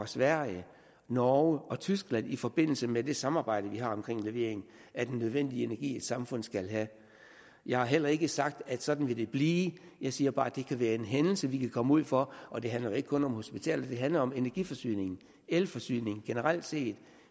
sverige norge og tyskland i forbindelse med det samarbejde vi har om levering af den nødvendige energi et samfund skal have jeg har heller ikke sagt at sådan vil det blive jeg siger bare at det kan være en hændelse vi kan komme ud for og det handler jo ikke kun om hospitaler det handler om energiforsyningen elforsyningen generelt set